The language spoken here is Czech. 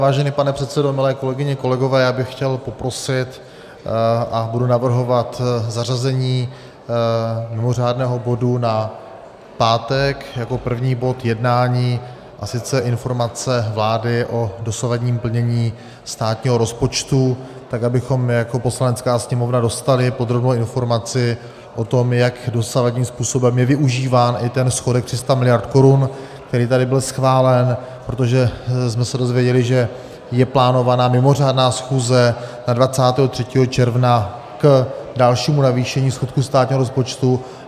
Vážený pane předsedo, milé kolegyně, kolegové, já bych chtěl poprosit a budu navrhovat zařazení mimořádného bodu na pátek jako první bod jednání, a sice Informace vlády o dosavadním plnění státního rozpočtu, tak abychom jako Poslanecká sněmovna dostali podrobnou informaci o tom, jak dosavadním způsobem je využíván i ten schodek 300 miliard korun, který tady byl schválen, protože jsme se dozvěděli, že je plánována mimořádná schůze na 23. června k dalšímu navýšení schodku státního rozpočtu.